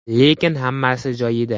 Lekin hammasi joyida.